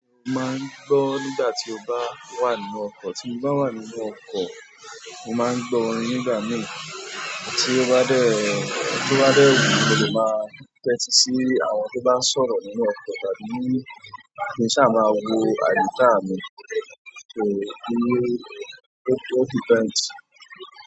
Máa ń gbọ́ nígbà tí o bá wà nínú ọkọ̀. Tí n bá wà nínú ọkọ̀, mo máa ń gbọ́ orin nígbà míì. Tí ó bá dẹ̀, tó bá dẹ̀ wù mí, mo lè máa tẹ́tí sí àwọn tó bá ń sọ̀rọ̀ nínú ọkọ̀ tàbí kí n ṣáà máa wo àyíká mi. So, tí, ó jẹ́ kí n tight.